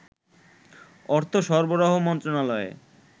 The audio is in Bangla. অর্থ সরবরাহ মন্ত্রণালয়ে